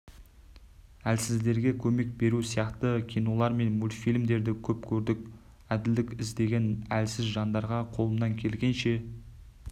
әлсіздерге көмек беру сияқты кинолар мен мультфильмдерді көп көрдік әділдік іздеген әлсіз жандарға қолымнан келгенінше